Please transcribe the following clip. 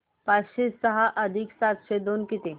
पाचशे सहा अधिक सातशे दोन किती